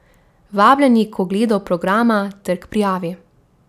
Vabljeni k ogledu programa ter k prijavi.